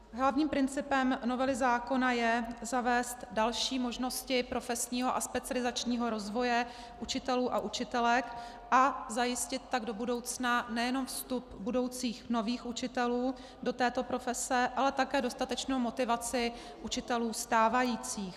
Hlavním principem novely zákona je zavést další možnosti profesního a specializačního rozvoje učitelů a učitelek a zajistit tak do budoucna nejenom vstup budoucích nových učitelů do této profese, ale také dostatečnou motivaci učitelů stávajících.